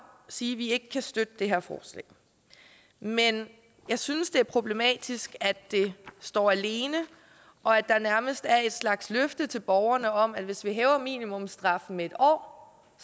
sige at vi ikke kan støtte det her forslag men jeg synes det er problematisk at det står alene og at der nærmest er en slags løfte til borgerne om at hvis vi hæver minimumsstraffen med en år